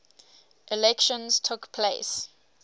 elections took place